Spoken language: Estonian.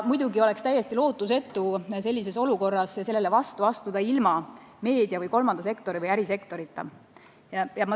Muidugi oleks täiesti lootusetu sellele vastu astuda ilma meedia, kolmanda sektori ja ärisektori abita.